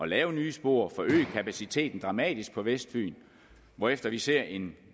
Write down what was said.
lave nye spor at forøge kapaciteten dramatisk på vestfyn hvorefter vi ser en